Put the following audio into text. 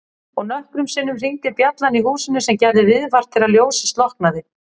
Og nokkrum sinnum hringdi bjallan í húsinu sem gerði viðvart þegar ljósið slokknaði.